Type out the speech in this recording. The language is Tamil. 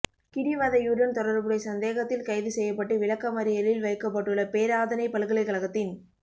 கிடிவதையுடன் தொடர்புடை சந்தேகத்தில் கைது செய்யப்பட்டு விளக்கமறியலில் வைக்கப்பட்டுள்ள பேராதனை பல்கலைக்கழகத்தின்